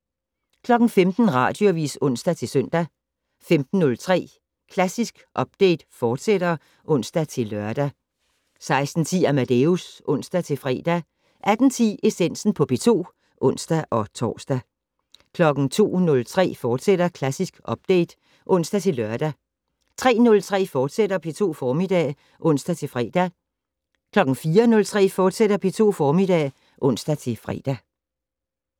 15:00: Radioavis (ons-søn) 15:03: Klassisk Update, fortsat (ons-lør) 16:10: Amadeus (ons-fre) 18:10: Essensen på P2 (ons-tor) 02:03: Klassisk Update, fortsat (ons-lør) 03:03: P2 Formiddag *(ons-fre) 04:03: P2 Formiddag *(ons-fre)